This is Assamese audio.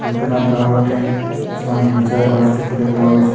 ছবিখনত বাওঁকাষে কিছুমান সেউজীয়া গছ দেখিবলৈ পোৱা গৈছে।